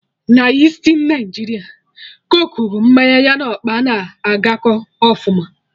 Na Isti Naijiria coke bụ mmanya ya na ọkpa na agakọ ọfụma